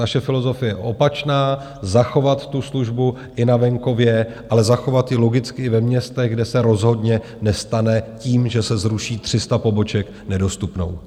Naše filozofie je opačná - zachovat tu službu i na venkově, ale zachovat ji logicky i ve městech, kde se rozhodně nestane tím, že se zruší 300 poboček, nedostupnou.